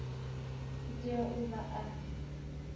u tea u vha a